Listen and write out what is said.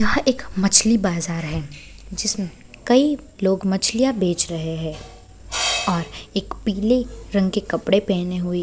यह एक मछली बाजार है जिसमें कई लोग मछलियां बेच रहे है और एक पीले रंग के कपड़े पहने हुई --